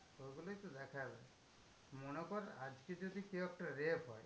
ওগুলোই তো দেখার। মনে কর আজকে যদি কেউ একটা rape হয়?